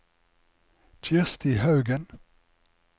Kirsti Haugen